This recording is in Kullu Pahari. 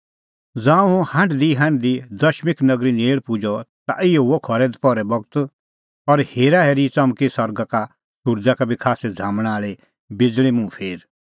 ज़ांऊं हुंह हांढदीहांढदी दमिश्क नगरी नेल़ पुजअ ता इहअ हुअ खरै दपहरो बगत त और हेराहेरी च़मकी सरगा का सुरज़ा का बी खास्सै झ़ामणा आल़ी बिज़ल़ी मुंह फेर